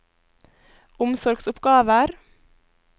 omsorgsoppgaver